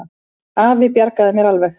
Afi bjargaði mér alveg.